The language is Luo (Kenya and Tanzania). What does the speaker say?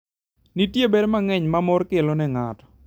Nitie ber mang'eny ma mor kelo ne ng'ato.